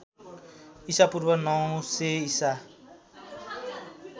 ईपू ९०० ईसा